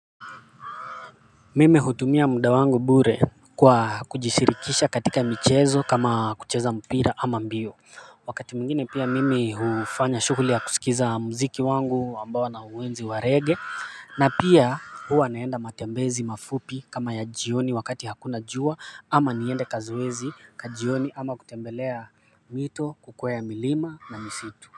Mimi hutumia muda wangu bure kwa kujishirikisha katika michezo kama kucheza mpira ama mbio wakati mwingine pia mimi hufanya shghuli ya kusikiza muziki wangu ambao nauenzi wa reggae na pia huwa naenda matembezi mafupi kama ya jioni wakati hakuna jua ama niende kazoezi ka jioni ama kutembelea mito kukwea milima na misitu.